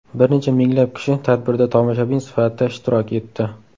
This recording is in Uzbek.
Bir necha minglab kishi tadbirda tomoshabin sifatida ishtirok etdi.